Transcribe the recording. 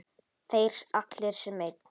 Þeir allir sem einn?